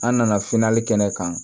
An nana kɛnɛ kan